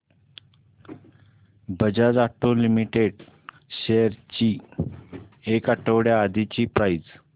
Bajaj auto limited shares ची एक आठवड्या आधीची प्राइस